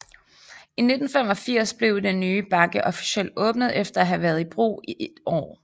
I 1985 blev den nye bakke officielt åbnet efter at have været i brug et år